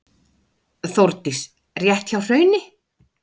Þórdís: Rétt hjá Hrauni?